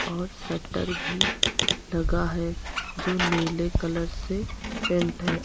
और शटर भी लगा है जो नीले कलर से पेंट है।